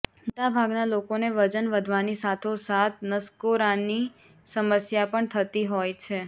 મોટાભાગનાં લોકોને વજન વધવાની સાથો સાથ નસકોરાની સમસ્યા પણ થતી હોય છે